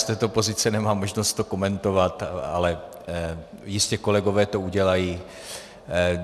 Z této pozice nemám možnost to komentovat, ale jistě kolegové to udělají.